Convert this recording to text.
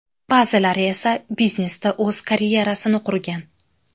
Ba’zilari esa biznesda o‘z karyerasini qurgan.